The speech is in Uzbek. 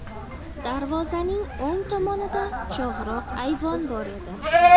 Darvozaning o‘ng tomonida chog‘roq ayvon bor edi.